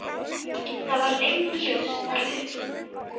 Það varð einnig ljóst af upplýsingum